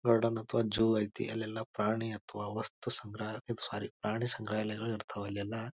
Garden ಅಥವಾ zoo ಐತಿ ಅಲ್ಲೆಲ್ಲ ಪ್ರಾಣಿ ಅಥವಾ ವಸ್ತು ಸಂಗ್ರಹ ಸೋರಿ ಪ್ರಾಣಿ ಸಂಗ್ರಹಾಲಯಗಳು ಇರ್ತವೆ ಅಲ್ಲೆಲ್ಲ.